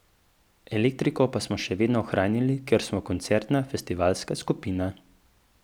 Elektriko pa smo še vedno ohranjali, ker smo koncertna, festivalska skupina.